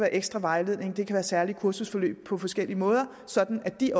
ekstra vejledning det kan være særlige kursusforløb på forskellige måder sådan at de